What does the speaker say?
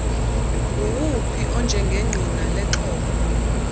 nguwuphi onjengengqina lexhoba